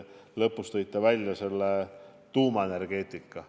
Lõpus te tõite välja ka tuumaenergeetika.